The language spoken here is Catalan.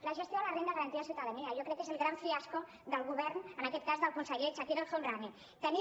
la gestió de la renda garantida de ciutadania jo crec que és el gran fiasco del govern en aquest cas del conseller chakir el homrani